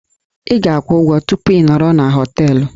Ị ga-akwụ ụgwọ tupu ị nọrọ na họteelụ